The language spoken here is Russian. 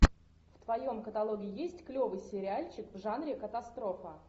в твоем каталоге есть клевый сериальчик в жанре катастрофа